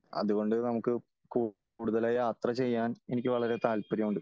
അത്കൊണ്ട് നമുക്ക് കൂടുതല് യാത്ര ചെയ്യാൻ എനിക്കുവളരെ താല്പര്യമുണ്ട് .